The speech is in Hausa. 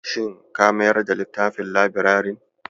Shin ka mayar da littafin labirarin?